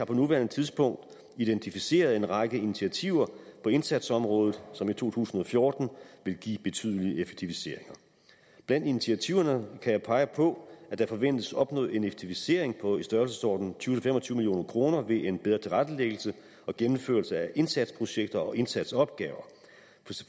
på nuværende tidspunkt identificeret en række initiativer på indsatsområder som i to tusind og fjorten vil give betydelige effektiviseringer blandt initiativerne kan jeg pege på at der forventes opnået en effektivisering i størrelsesordenen tyve til fem og tyve million kroner ved en bedre tilrettelæggelse og gennemførelse af indsatsprojekter og indsatsopgaver